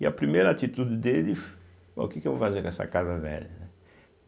E a primeira atitude dele Bom, o que que eu vou fazer com essa casa velha, né?